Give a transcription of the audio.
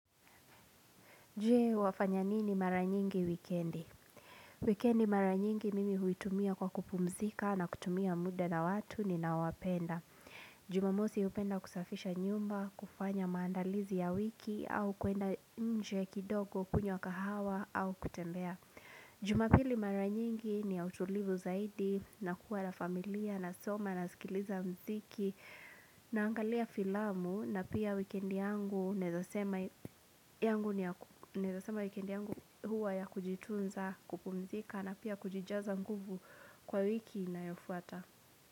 Je wafanya nini mara nyingi wikendi? Wikendi mara nyingi mimi huitumia kwa kupumzika na kutumia muda na watu ninawapenda. Jumamosi hupenda kusafisha nyumba, kufanya maandalizi ya wiki au kuenda nje kidogo kunywa kahawa au kutembea. Jumapili mara nyingi ni ya utulivu zaidi na kuwa la familia nasoma nasikiliza mziki naangalia filamu na pia wikendi yangu naeza sema wikendi yangu huwa ya kujitunza kupumzika na pia kujijaza nguvu kwa wiki inayofuata.